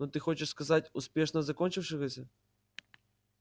но ты хочешь сказать успешно закончившегося